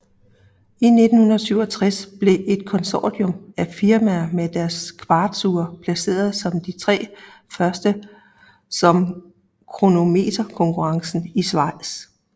I 1967 blev et konsortium af firmaer med deres kvartsure placeret som de 3 første ved kronometerkonkurrencen i Schweiz